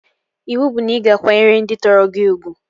Iwu bụ na ị ga akwanyere ndị tọrọ gị ugwu!